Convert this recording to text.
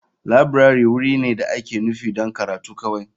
Laburare wuri ne da ake nufi don karatu kawai.